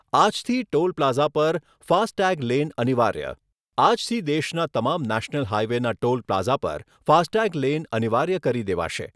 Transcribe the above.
આજથી ટોલપ્લાઝા પર ફાસ્ટટેગલેન અનિવાર્ય. આજથી દેશના તમામ નેશનલ હાઇવેના ટોલ પ્લાઝા પર ફાસ્ટટેગ લેન અનિવાર્ય કરી દેવાશે.